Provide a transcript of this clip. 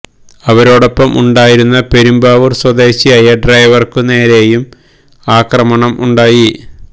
ഇവരോടൊപ്പം ഉണ്ടായി രുന്ന പെരുമ്പാവൂര് സ്വദേശിയായ ഡ്രെെവര്ക്കു നേരെയു അക്രമണം ഉണ്ടായി